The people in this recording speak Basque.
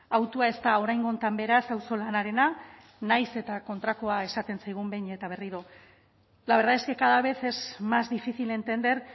hautua ez da oraingo honetan beraz auzolanarena nahiz eta kontrakoa esaten zaigun behin eta berriro la verdad es que cada vez es más difícil entender